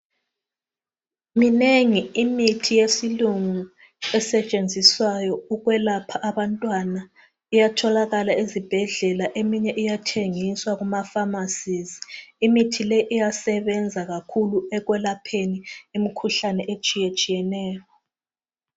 Minengi imithi yesilungu esetshenziswa iyatholakala ezibhedlela eminye iyathengiswa kumaphamacy eminye iyathengiswa ezibhedlela ezinkulu iyangcedisa ekwelapheni imkhuhlane etshiya tshiyeneyo